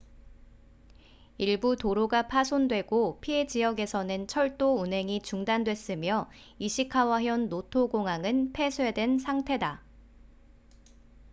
일부 도로가 파손되고 피해 지역에서는 철도 운행이 중단됐으며 이시카와현 노토 공항은 폐쇄된 상태다